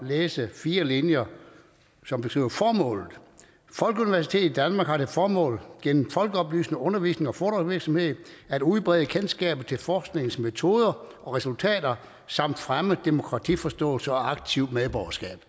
at læse fire linjer som beskriver formålet folkeuniversitetet i danmark har til formål gennem folkeoplysende undervisnings og foredragsvirksomhed at udbrede kendskabet til forskningens metoder og resultater samt fremme demokratiforståelse og aktivt medborgerskab